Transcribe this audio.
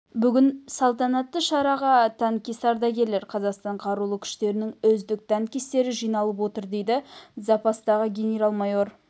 бүгін салтанатты шараға танкист ардагерлер қазақстан қарулы күштерінің үздік танкистері жиналып отыр дейді запастағы генерал-майор